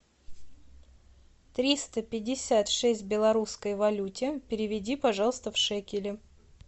триста пятьдесят шесть в белорусской валюте переведи пожалуйста в шекели